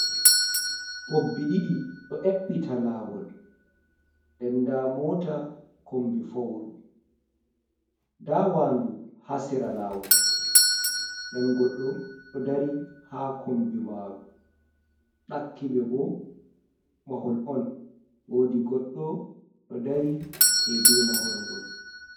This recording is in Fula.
Pobbi ɗiɗi ɗo ƴeɓɓita laawol, nden ndaa moota kombi fowru, ndaa waandu haa sera laawol .Nden goɗɗo ɗo dari, haa kombi maaru. Ɗakkiɓe bo mahol on ,woodi goɗɗo ɗo dari deydey mahol ngol.